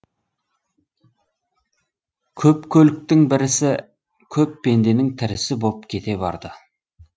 көп көліктің бірісі көп пенденің тірісі боп кете барды